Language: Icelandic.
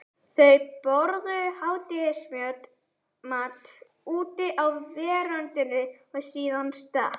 Þau borðuðu hádegismat úti á veröndinni og síðan stakk